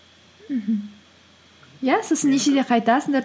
мхм иә сосын нешеде қайтасыңдар